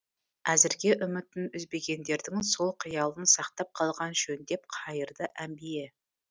әзірге үмітін үзбегендердің сол қиялын сақтап қалған жөн деп қайырды әмбие